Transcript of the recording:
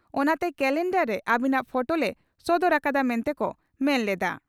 ᱚᱱᱟᱛᱮ ᱠᱟᱞᱮᱱᱰᱟᱨ ᱨᱮ ᱟᱹᱵᱤᱱᱟᱜ ᱯᱷᱚᱴᱚ ᱞᱮ ᱥᱚᱫᱚᱨ ᱟᱠᱟᱫᱼᱟ ᱢᱮᱱᱛᱮ ᱠᱚ ᱢᱮᱱ ᱞᱮᱫᱼᱟ ᱾